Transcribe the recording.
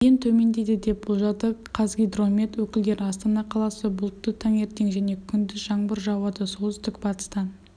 дейін төмендейді деп болжады қазгидромет өкілдері астана қаласы бұлтты таңертең және күндіз жаңбыр жауады солтүстік-батыстан